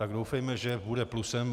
Tak doufejme, že bude plusem.